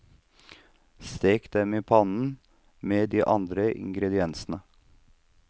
Stek de i pannen med de andre ingrediensene.